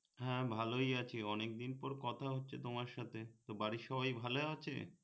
হা ভালোই আছি অনেক দিন পর কথা হচ্ছে তোমার সাথে তো বাড়ির সবাই ভালোই আছে